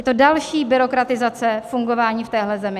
Je to další byrokratizace fungování v téhle zemi.